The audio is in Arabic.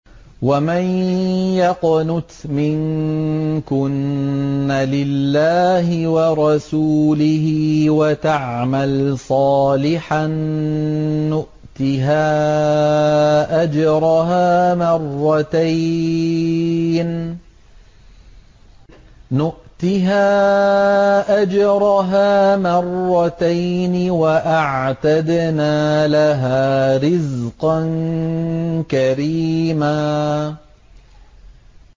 ۞ وَمَن يَقْنُتْ مِنكُنَّ لِلَّهِ وَرَسُولِهِ وَتَعْمَلْ صَالِحًا نُّؤْتِهَا أَجْرَهَا مَرَّتَيْنِ وَأَعْتَدْنَا لَهَا رِزْقًا كَرِيمًا